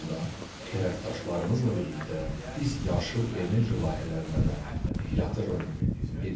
Eyni zamanda tərəfdaşlarımızla birlikdə biz yaşıl enerji layihələrinə də yatırım edirik.